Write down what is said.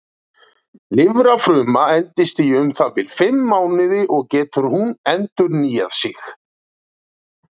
Lifrarfruma endist í um það bil fimm mánuði og getur hún endurnýjað sig.